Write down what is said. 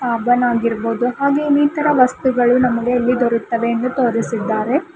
ಸಾಬೂನ್ ಆಗಿರ್ಬಹುದು ಹಾಗೆ ಇನ್ನಿತರೆ ವಸ್ತುಗಳು ನಮಗೆ ಇಲ್ಲಿ ದೊರೆಯುತ್ತವೆ ಎಂದು ತೋರಿಸಿದ್ದಾರೆ.